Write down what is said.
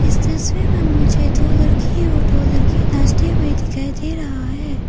इस तस्वीर में मुझे दो लड़की और दो लड़के नाचते हुए दिखाई दे रहा है।